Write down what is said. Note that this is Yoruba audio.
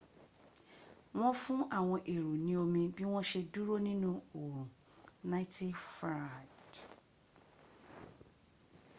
wọ́n fún àwọn èrò ní omi bí wọ́n ṣe dúró nínu orun 90f